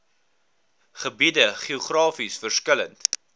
gebied geografies verskillend